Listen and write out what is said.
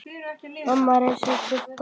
Mamma reis upp við dogg.